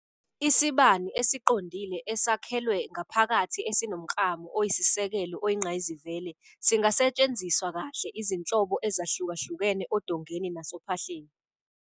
Isibani esiqondile esakhelwe ngaphakathi esinomklamo oyisisekelo oyingqayizivele singasetshenziswa kahle izinhlobo ezahlukahlukene odongeni nasophahleni.